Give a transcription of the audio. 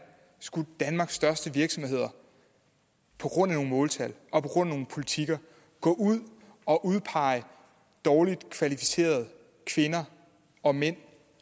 skulle danmarks største virksomheder på grund af nogle måltal og på grund af nogle politikker gå ud og udpege dårligt kvalificerede kvinder og mænd